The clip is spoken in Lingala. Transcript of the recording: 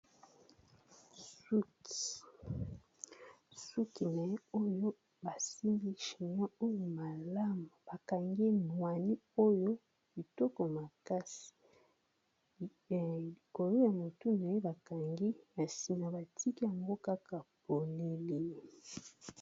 Suki, suki na ye oyo basimbi chinois oyo malamu bakangi nwani oyo kitoko makasi likolo ya motu na ye bakangi na sima batiki yango kaka polele.